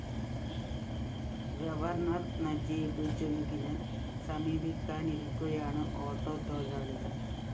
governor Najeeb ജംഗിനെ സമീപിക്കാനിരിക്കുകയാണ് auto തൊഴിലാളികള്‍